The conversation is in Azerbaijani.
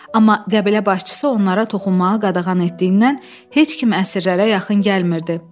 Amma qəbilə başçısı onlara toxunmağa qadağan etdiyindən heç kim əsirlərə yaxın gəlmirdi.